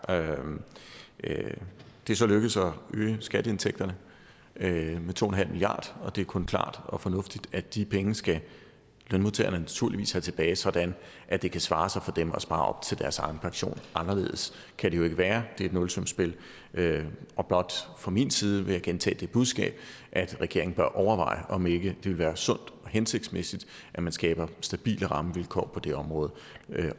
det er så lykkedes at øge skatteindtægterne med to milliard og det er kun klart og fornuftigt at de penge skal lønmodtagerne naturligvis have tilbage sådan at det kan svare sig for dem at spare op til deres egen pension anderledes kan det jo ikke være det er et nulsumsspil fra min side vil gentage det budskab at regeringen bør overveje om ikke det ville være sundt og hensigtsmæssigt at man skaber stabile rammevilkår på det område